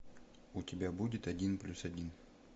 у тебя будет один плюс один